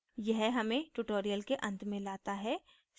यह हमें tutorial के अंत में लाता है